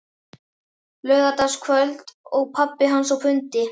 Laugardagskvöld og pabbi hans á fundi.